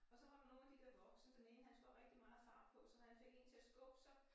Og så var der nogle af de der voksne den ene han skulle have rigtig meget fart på så han fik én til at skubbe sig